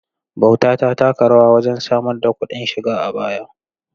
Bauta ta taka rawa wajen samar da kuɗin shiga a baya.